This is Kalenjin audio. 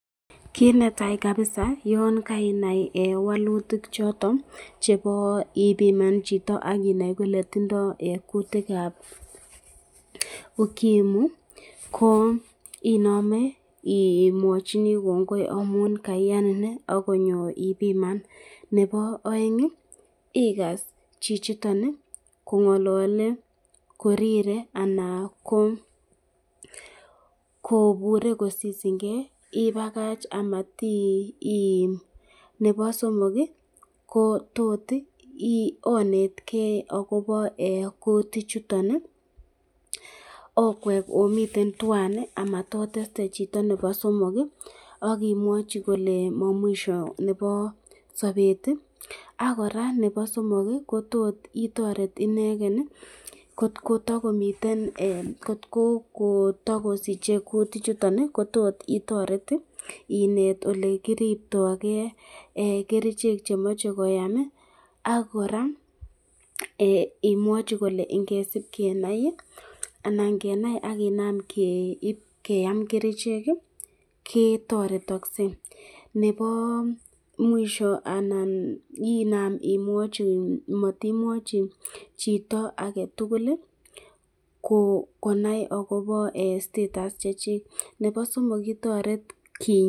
Kit netai kabisa yan kainai walutik choton chebo ipiman chito akonai kole tindo kutikab ukimwi, ko inamen imwachini kongoi amun kaianin konyo ipiman ,nebo aeng ikase chichiton kongalale korire ana kobure kosisinke ,ibakach amatiim ,nebo somok ko tot onetke akobo kutik chuton okwek omiten tuan amatoteste chito nebo somok ,akimwachi kole ma mwisho nebo sabet ak koraa nebo somok ko tot itoret iken kot komakomiten ,kot ko kotakosiche kutik chuton ko tot itoret inet elekiribtoike, kerichek chemache koam ak koraa imwachi kole ingesib kenai ,anan kenai akinam keam kerichek ketaretakse nebo mwisho anan ,Iman imwachi ,amatimwachi chito aketukul konai akobo status Chechik.